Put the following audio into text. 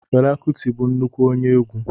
Fela kuti bụ nnukwu onye egwu.